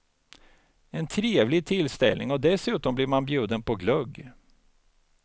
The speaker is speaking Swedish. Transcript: En trevlig tillställning och dessutom blir man bjuden på glögg.